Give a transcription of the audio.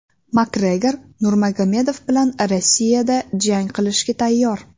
Makgregor Nurmagomedov bilan Rossiyada jang qilishga tayyor.